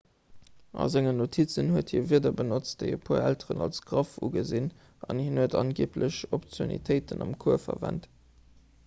a sengen notizen huet hie wierder benotzt déi e puer elteren als graff ugesinn an hien huet angeeblech obszönitéiten am cours verwent